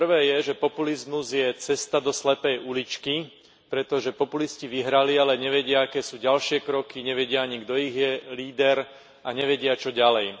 To prvé je, že populizmus je cesta do slepej uličky, pretože populisti vyhrali, ale nevedia, aké sú ďalšie kroky, nevedia ani, kto je ich líder, a nevedia, čo ďalej.